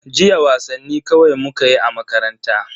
Jiya wasanni kawai mukayi a makaranta.